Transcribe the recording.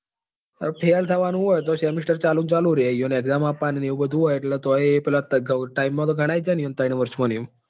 હવે fail થવા નું હોય તો semester ચાલુ ને ચાલુ જ રે એમને exam આપવાની ને એવું બધું હોય તોય પેલા time માં તો ગણાય જાય ને ત્રબ્ન વર્ષ માં ને એવું.